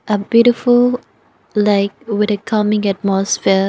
a beautiful lake with it calming atmosphere.